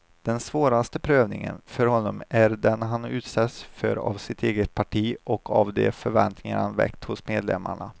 Den svåraste prövningen för honom är den han utsätts för av sitt eget parti och av de förväntningar han väckt hos medlemmarna.